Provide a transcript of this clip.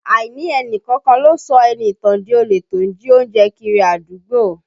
Àìní ẹni kankan lọ sọ Ẹniìtàn di olè tó ń jí oúnjẹ kiri àdúgbò